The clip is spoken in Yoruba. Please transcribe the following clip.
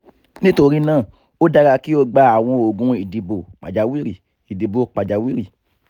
bawo o lè lóyún nítorí o ní ìbálòpọ̀ láàárín ọjọ́ tí o bá ń se ovulation